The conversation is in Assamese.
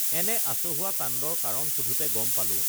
এনে আচহু‌ৱা কাণ্ডৰ কাৰণ সোধোতে গম পালো